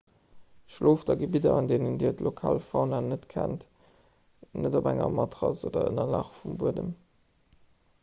schlooft a gebidder an deenen dir d'lokal fauna net kennt net op enger matrass oder ënnerlag um buedem